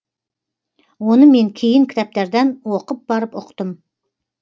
оны мен кейін кітаптардан оқып барып ұқтым